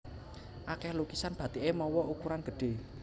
Akèh lukisan bathiké mawa ukuran gedhé